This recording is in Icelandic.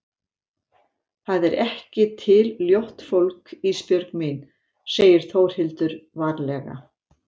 Það er ekki til ljótt fólk Ísbjörg mín, segir Þórhildur varlega.